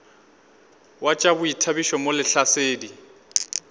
wa tša boithabišo mo lehlasedi